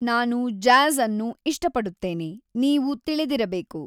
ನಾನು ಜಾಝ್ ಅನ್ನು ಇಷ್ಟಪಡುತ್ತೇನೆ, ನೀವು ತಿಳಿದಿರಬೇಕು